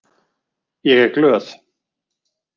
Ég er glöð.